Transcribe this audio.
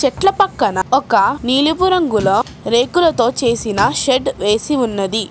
చెట్ల పక్కన ఒక నీలుపు రంగుల రేకులతో చేసిన రేకులతో చేసిన షెడ్ వేసి ఉన్నది.